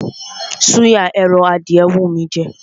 Súyà ẹran adìyẹ ń wú mí í jẹ.